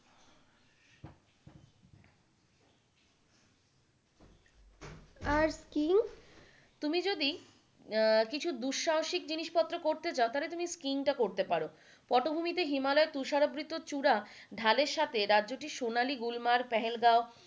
আর skiing? তুমি যদি উম দুঃসাহসিক জিনিসপত্র করতে চাও তাহলে তুমি স্কিইং টা করতে পারো পটভূমিতে হিমালয়ের তুষারাবৃত চূড়া ঢালের সাথে রাজ্যটি সোনালী গুলমার্গ, পেহেলগাঁও,